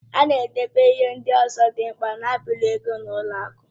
A na-edobe ihe ndị ọzọ dị mkpa na-abụghị ego n'ụlọ akụ.